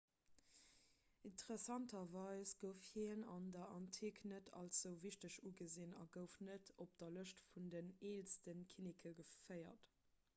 interessanterweis gouf hien an der antik net als esou wichteg ugesinn a gouf net op de lëschte vun den eelste kinneke geféiert